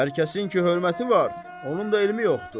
Hər kəsin ki hörməti var, onun da elmi yoxdur.